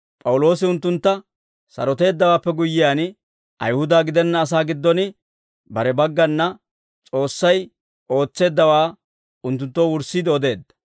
P'awuloosi unttuntta saroteeddawaappe guyyiyaan, Ayihuda gidenna asaa giddon bare baggana S'oossay ootseeddawaa unttunttoo wurssiide odeedda.